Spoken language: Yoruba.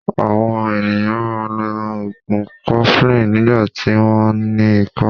Àwon ènìyàn máa n lo ògùn 'cofflin nígbàtí wón ní ikó